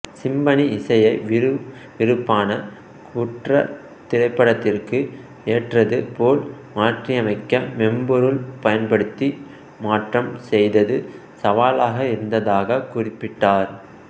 symphony இசையை விருவிருப்பான குற்றத் திரைப்படத்திற்கு ஏற்றது போல் மாற்றியமைக்க மென்பொருள் பயன்படுத்தி மாற்றம் செய்தது சவாலாக இருத்ததாகக் குறிப்பிட்டார்